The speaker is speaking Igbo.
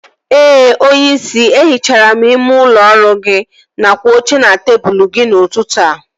Ee onyeisi, e hichara m ime ụlọ ọrụ gị nakwa oche na tebụl gị n'ụtụtụ a